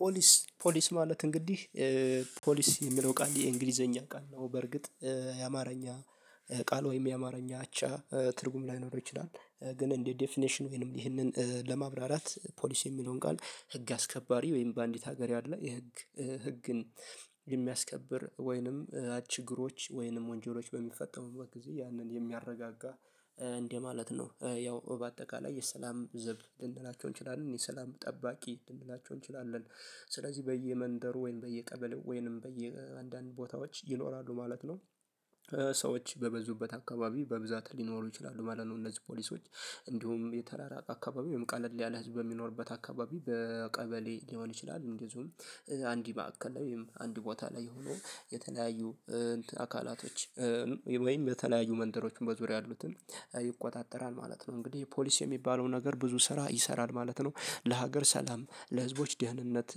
ፖሊስ ፖሊስ ማለት እንግዲህ 'ፖሊስ' የሚለው ቃል የእንግሊዘኛ ቃል ነው በርግጥ። የአማርኛ ቃል ወይም የአማርኛ አቻ ትርጉም ላይኖረው ይችላል። ግን እንዲህ 'ዴፊኔሽን' ወይንም ይህንን ለማብራራት 'ፖሊስ' የሚለውን ቃል ህግ አስከባሪ ወይም በአንዲት ሀገር ያለ የህግ ህግን የሚያስከብር ወይንም ችግሮች ወይንም ወንጀሎች በሚፈጠሩበት ጊዜ ያንን የሚያረጋጋ እንደማለት ነው። ያው በአጠቃላይ የሰላም ዘብ ልንላቸው እንችላለን። የሰላም ጠባቂ ልንላቸው እንችላለን። ስለዚህ በየመንደሩ ወይም በየቀበሌው ወይም በየአንድአንድ ቦታዎች ይኖራሉ ማለት ነው። ሰዎች በበዙበት አካባቢ በብዛት ሊኖሩ ይችላሉ ማለት ነው። እነዚህ ፖሊሶች እንዲሁም የተራራቀ አካባቢ ወይም ቀለል ያለ ህዝብ በሚኖርበት አካባቢ በቀበሌ ሊሆን ይችላል። እንደዚሁም አንድ ማዕከል ወይም አንድ ቦታ ላይ ሆኖ የተለያዩ አካላቶች ወይም የተለያዩ መንደሮችን በዙሪያ ያሉትን ይቆጣጠራል ማለት ነው። እንግዲህ 'ፖሊስ' የሚባለው ነገር ብዙ ስራ ይሰራል ማለት ነው። ለሀገር ሰላም ለህዝቦች ደህንነት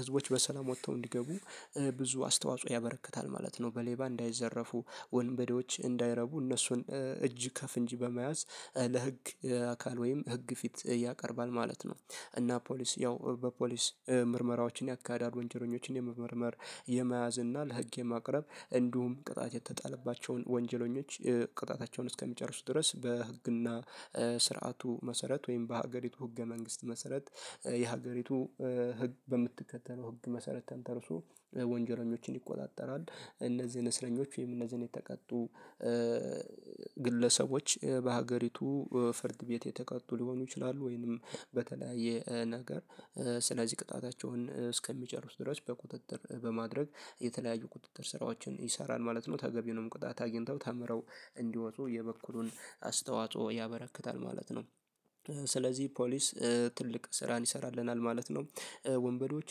ህዝቦች በሰላም ወጥተው እንዲገቡ ብዙ አስተዋጽኦ ያበረክታል ማለት ነው። በሌባ እንዳይዘረፉ ወንበዴዎች እንዳይረቡ እነሱን እጅ ከፈንጅ በመያዝ ለህግ አካል ወይም ህግ ፊት ያቀርባል ማለት ነው። እና 'ፖሊስ' ያው በፖሊስ ምርመራዎችን የአካባቢ ወንጀለኞችን የመመርመር የመያዝ እና ለህግ የማቅረብ እንዲሁም ቅጣት የተጣለባቸውን ወንጀለኞች ቅጣታቸውን እስከሚጨርሱ ድረስ በህግና ስርዓቱ መሰረት ወይም በሀገሪቱ ህገ መንግስት መሰረት የሀገሪቱ ህግ በምትከተለው ህግ መሰረት ተንተርሶ ወንጀለኞችን ይቆጣጠራል። እነዚህን እስረኞች ወይም እነዚህን የተቀጡ ግለሰቦች በሀገሪቱ ፍርድ ቤት የተቀጡ ሊሆኑ ይችላሉ ወይንም በተለያየ ነገር ስለዚህ ቅጣታቸውን እስከሚጨርሱ ድረስ በቁጥጥር በማድረግ የተለያዩ ቁጥጥር ስራዎችን ይሰራል ማለት ነው። ተገቢውንም ቅጣት አግኝተው ተምረው እንዲወጡ የበኩሉን አስተዋጽኦ ያበረክታል ማለት ነው። ስለዚህ ፖሊስ ትልቅ ስራን ይሰራልናል ማለት ነው። ወንበዴዎች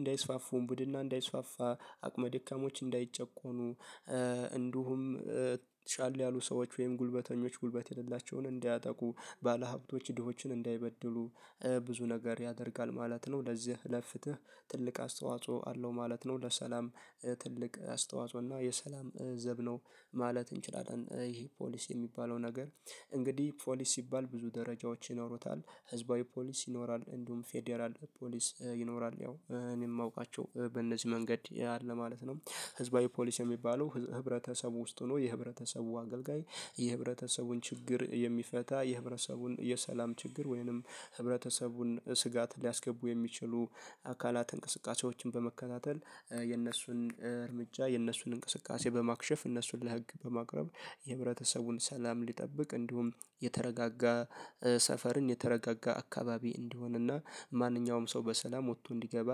እንዳይስፋፉ፣ ውንብድንና እንዳይስፋፋ አቅመደካሞች እንዳይጨቆኑ፣ እንዲሁም ሻል ያሉ ሰዎች ወይም ጉልበተኞች ጉልበት የሌላቸውን እንዳያጠቁ፣ ባለሀብቶች ድሆችን እንዳይበድሉ ብዙ ነገር ያደርጋል ማለት ነው። ለዚህ ለፍትህ ትልቅ አስተዋጽኦ አለው ማለት ነው። ለሰላም ትልቅ አስተዋጽኦ እና የሰላም ዘብ ነው ማለት እንችላለን። ይሄ 'ፖሊስ' የሚባለው ነገር እንግዲህ ፖሊስ ሲባል ብዙ ደረጃዎች ይኖሩታል። ህዝባዊ ፖሊስ ይኖራል፣ እንዲሁም ፌደራል ፖሊስ ይኖራል ያው እኔም የማውቃቸው በእነዚህ መንገድ ያለ ማለት ነው። ህዝባዊ ፖሊስ የሚባለው ህብረተሰብ ውስጥ ሆኖ የህብረተሰቡ አገልጋይ የህብረተሰቡን ችግር የሚፈታ የህብረተሰቡን የሰላም ችግር ወይንም ህብረተሰቡን ስጋት ሊያስገቡ የሚችሉ አካላት እንቅስቃሴዎችን በመከታተል የእነሱን እርምጃ የእነሱን እንቅስቃሴ በማክሸፍ እነሱን ለህግ በማቅረብ የህብረተሰቡን ሰላም እንዲጠብቅ እንዲሁም የተረጋጋ ሰፈርን የተረጋጋ አካባቢ እንዲሆን እና ማንኛውም ሰው በሰላም ወጥቶ እንዲገባ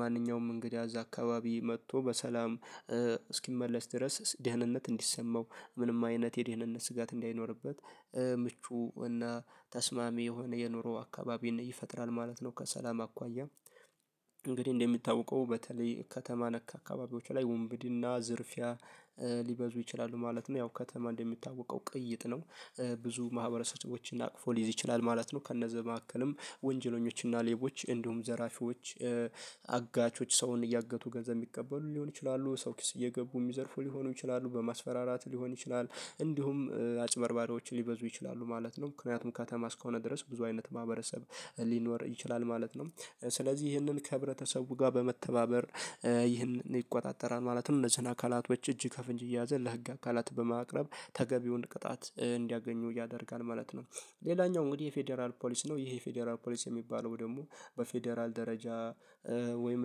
ማንኛውም እንግዳ እዛ አካባቢ መጥቶ በሰላም እስኪመለስ ድረስ ደህንነት እንዲሰማው ምንም አይነት የደህንነት ስጋት እንዳይኖርበት ምቹ እና ተስማሚ የሆነ የኑሮ አካባቢን ይፈጥራል ማለት ነው። ከሰላም አኳያ እንግዲህ እንደሚታወቀው በተለይ ከተማ ነክ አካባቢዎች ላይ ውንብድና፣ ዝርፊያ ሊበዙ ይችላሉ ማለት ነው። ያው ከተማ እንደሚታወቀው ቅይጥ ነው። ብዙ ማህበረሰቦችን አቅፎ ሊይዝ ይችላል ማለት ነው። ከነዛ መካከልም ወንጀለኞችና ሌቦች እንዲሁም ዘራፊዎች አጋቾች ሰውን እያገቱ ገንዘብ የሚቀበሉ ሊሆኑ ይችላሉ። ሰው ኪስ እየገቡ የሚዘርፉ ሊሆኑ ይችላሉ። በማስፈራራት ሊሆን ይችላል። እንዲሁም አጭበርባሪዎች ሊበዙ ይችላሉ ማለት ነው። ምክንያቱም ከተማ እስከሆነ ድረስ ብዙ አይነት ማህበረሰብ ሊኖር ይችላል ማለት ነው። ስለዚህ ይህንን ከህብረተሰቡ ጋር በመተባበር ይህንን ይቆጣጠራል ማለትም እነዚህን አካላቶች እጅ ከፈንጅ እየያዘ ለህግ አካላት በማቅረብ ተገቢውን ቅጣት እንዲያገኙ ያደርጋል ማለት ነው። ሌላኛው እንግዲህ የፌደራል ፖሊስ ነው። ይሄ የፌደራል ፖሊስ የሚባለው ደግሞ በፌደራል ደረጃ ወይም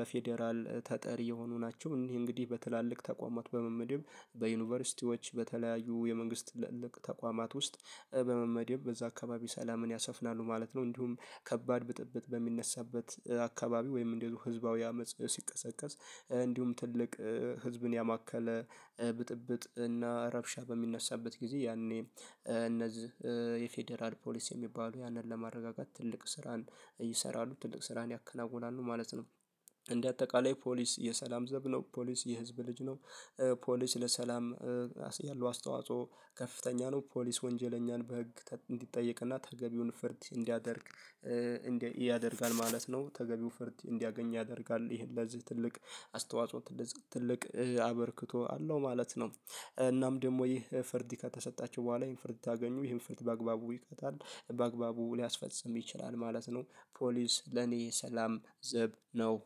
ለፌደራል ተጠሪ የሆኑ ናቸው። ይሄ እንግዲህ በትላልቅ ተቋማት በመመደብ በዩኒቨርሲቲዎች በተለያዩ የመንግስት ተቋማት ውስጥ በመመደብ በዛ አካባቢ ሰላምን ያሰፍናሉ ማለት ነው። እንዲሁም ከባድ ብጥብጥ በሚነሳበት አካባቢ ወይም እንዲሁ ህዝባዊ አመጽ ሲቀሰቀስ እንዲሁም ትልቅ ህዝብን ያማከለ ብጥብጥ እና ረብሻ በሚነሳበት ጊዜ ያኔ እነዚህ የፌደራል ፖሊስ የሚባሉ ያንን ለማረጋጋት ትልቅ ስራን ይሰራሉ። ትልቅ ስራን ያከናውናሉ ማለት ነው። እንደ አጠቃላይ ፖሊስ የሰላም ዘብ ነው። ፖሊስ የህዝብ ልጅ ነው። ፖሊስ ለሰላም ያለው አስተዋጽኦ ከፍተኛ ነው። ፖሊስ ወንጀለኛን በህግ እንዲጠየቅና ተገቢውን ፍርድ እንዲያደርግ እንዲያደርጋል ማለት ነው። ተገቢውን ፍርድ እንዲያገኙ ያደርጋል። ይሄን በዚህ ትልቅ አስተዋጽኦ እንደዚህ ትልቅ አበርክቶ አለው ማለት ነው። እናም ደግሞ ይሄ ፍርድ ከተሰጣቸው በኋላ ይሄን ፍርድ ታገኙ ይሄን ፍርድ በአግባቡ ይይዙታል። በአግባቡ ሊያስፈጽም ይችላል ማለት ነው። ፖሊስ ለኔ የሰላም ዝብ ነው።